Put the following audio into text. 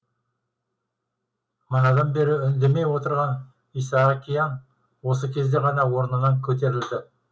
манадан бері үндемей отырған исаакиян осы кезде ғана орнынан көтерілді